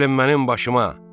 Gəlin mənim başıma!